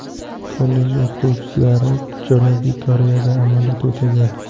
Kollej o‘qituvchilari Janubiy Koreyada amaliyot o‘tagan.